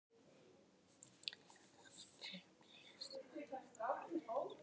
Aldrei blés hann úr nös.